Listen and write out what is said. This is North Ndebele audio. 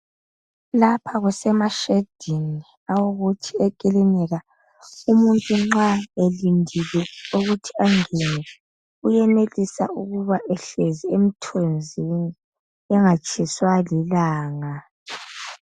Lapha kusemashedini awokuthi ekilinika. Umuntu nxa elindile ukuthi engene , uyenelisa ukuba ehlezi emthunzini engatshiswa lilanga.